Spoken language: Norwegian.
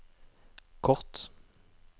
kort